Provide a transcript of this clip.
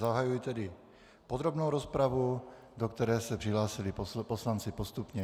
Zahajuji tedy podrobnou rozpravu, do které se přihlásili poslanci postupně.